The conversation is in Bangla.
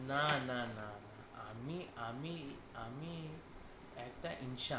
না না না না আমি আমি আমি একটা ইনসান